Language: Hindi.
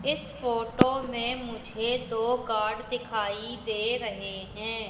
इस फोटो में मुझे दो गार्ड दिखाई दे रहें हैं।